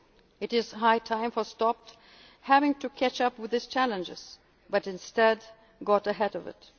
cyber security. It is high time we stopped having to catch up with this challenge and instead